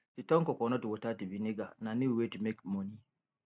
to turn coconut water to vinegar na new way to make money